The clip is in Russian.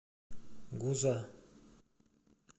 гуза